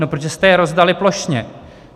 No, protože jste je rozdali plošně.